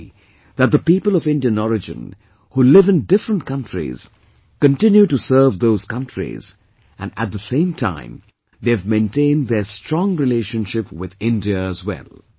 I am happy that the people of Indian origin who live in different countries continue to serve those countries and at the same time they have maintained their strong relationship with India as well